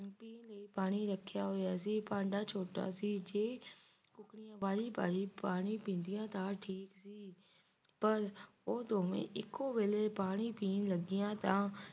ਪਾਣੀ ਰੱਖਿਆ ਹੋਇਆ ਸੀ ਭਾਂਡਾ ਛੋਟਾ ਸੀ ਜੋ ਕੁੱਕੜੀਆਂ ਬਾਰੀ-ਬਾਰੀ ਪਾਣੀ ਪੀਂਦੀਆਂ ਤੇ ਠੀਕ ਸੀ ਪਰ ਉਹ ਦੋਵੇਂ ਇੱਕੋ ਵਾਰੀ ਪਾਣੀ ਪੀਣ ਲੱਗੀਆਂ ਤਾਂ